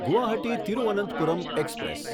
Guwahati Thiruvananthapuram express